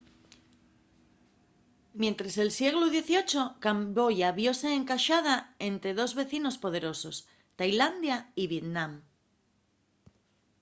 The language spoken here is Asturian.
mientres el sieglu xviii camboya viose encaxada ente dos vecinos poderosos tailandia y vietnam